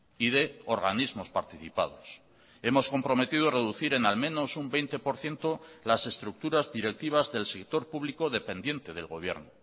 y de organismos participados hemos comprometido reducir en al menos un veinte por ciento las estructuras directivas del sector público dependiente del gobierno